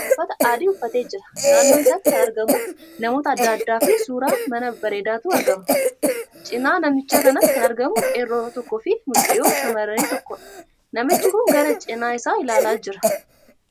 Uffata adii uffatee jira. Naannoo isaatti kan argamu namoota addaa addaa fi suuraa manaa bareedaatu argamaa jira. cina namicha kanatti kan argamu qeerroo tokkoo Fi mucayyoo shamarranii tokkoodha. Namichi kun gara china isaa ilaalaa jira.